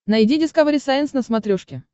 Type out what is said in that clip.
найди дискавери сайенс на смотрешке